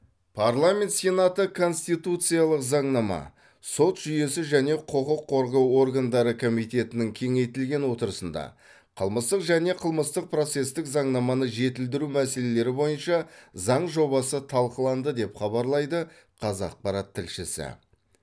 парламент сенаты конституциялық заңнама сот жүйесі және құқық қорғау органдары комитетінің кеңейтілген отырысында қылмыстық және қылмыстық процестік заңнаманы жетілдіру мәселелері бойынша заң жобасы талқыланды деп хабарлайды қазақпарат тілшісі